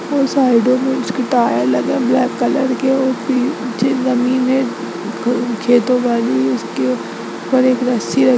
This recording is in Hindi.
और साइडो में उसके टायर लगे है ब्लैक कलर के और फिर नीचे जमीन है खेतों वाली उसके ऊपर एक रस्सी है।